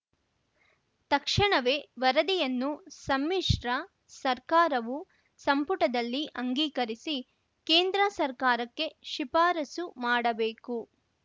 ತಕ್ಷಣವೇ ವರದಿಯನ್ನು ಸಮ್ಮಿಶ್ರ ಸರ್ಕಾರವು ಸಂಪುಟದಲ್ಲಿ ಅಂಗೀಕರಿಸಿ ಕೇಂದ್ರ ಸರ್ಕಾರಕ್ಕೆ ಶಿಫಾರಸು ಮಾಡಬೇಕು